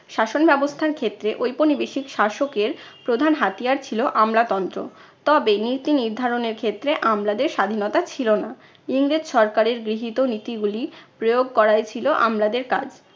শাসন ব্যবস্থার ক্ষেত্রে ঔপনিবেশিক শাসকের প্রধান হাতিয়ার ছিল আমলাতন্ত্র। তবে নীতিনির্ধারণের ক্ষেত্রে আমলাদের স্বাধীনতা ছিল না। ইংরেজ সরকারের গৃহীত নীতিগুলি প্রয়োগ করাই ছিলো আমলাদের কাজ।